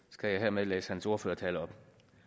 skal jeg hermed læse hans ordførertale op